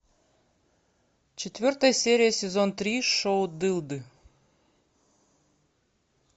четвертая серия сезон три шоу дылды